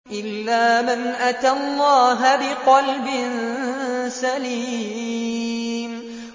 إِلَّا مَنْ أَتَى اللَّهَ بِقَلْبٍ سَلِيمٍ